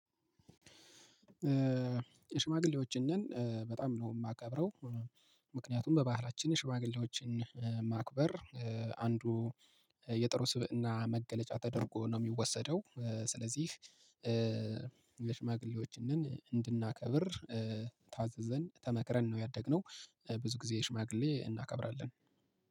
ሽማግሌዎችን በጣም ነው የማከብረው። ምክንያቱም በባህላችን ሽማግሌዎችን ማክበር አንዱ የጥሩ ስብዕና መገለጫ ተደርጎ ነው የሚወሰደው። ስለዚህ ለሽማግሌዎች እንድናከብር ታዘዘን ተመክረን ነው ያደግነው። ብዙ ጊዜ ሽማግሌ እናከብራለን።